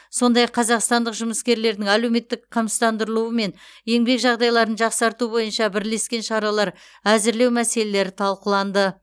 сондай ақ қазақстандық жұмыскерлердің әлеуметтік қамсыздандырылуы мен еңбек жағдайларын жақсарту бойынша бірлескен шаралар әзірлеу мәселелері талқыланды